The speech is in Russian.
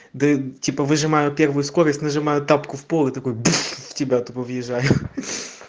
да типа выжимаю первую скорость нажимаю тапку в пол и такой бф типо такой выезжаю